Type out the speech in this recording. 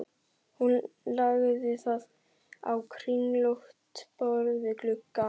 Hún lagði það á kringlótt borð við gluggann.